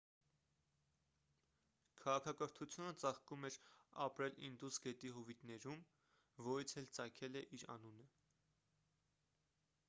քաղաքակրթությունը ծաղկում էր ապրել ինդուս գետի հովիտներում որից էլ ծագել է իր անունը